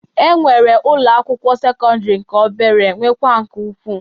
E nwere ụlọ akwụkwọ sekọndịrị nke obere nwekwa nke ukwu.